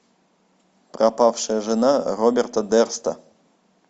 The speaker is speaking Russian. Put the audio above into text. пропавшая жена роберта дерста